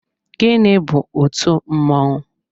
Gịnị bu otú mmọnwụ?